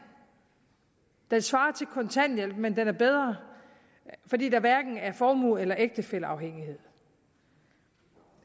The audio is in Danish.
den svarer til kontanthjælp men den er bedre fordi der hverken er formue eller ægtefælleafhængighed